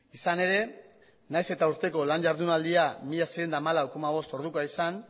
izan ere nahiz eta urteko lan ihardunaldia mila seiehun eta hamalau koma bost ordukoa izan